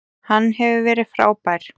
Hann hefur verið frábær.